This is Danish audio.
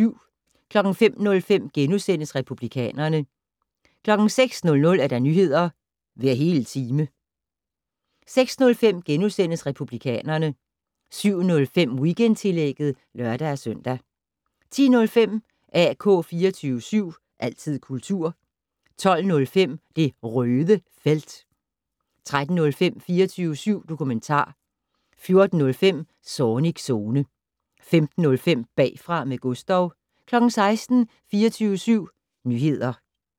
05:05: Republikanerne * 06:00: Nyheder hver hele time 06:05: Republikanerne * 07:05: Weekendtillægget (lør-søn) 10:05: AK 24syv. Altid kultur 12:05: Det Røde Felt 13:05: 24syv dokumentar 14:05: Zornigs Zone 15:05: Bagfra med Gustav 16:00: 24syv Nyheder